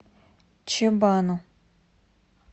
чебану